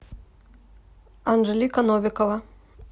анжелика новикова